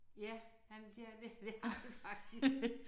Ja han de har det det har de faktisk